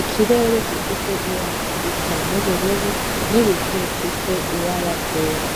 ikirerere gifise ibara risa n'ubururu n'ibicu bifise ibara ryera.